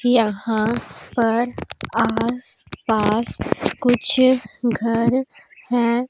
यहां पर आस पास कुछ घर है।